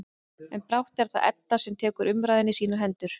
En brátt er það Edda sem tekur umræðuna í sínar hendur.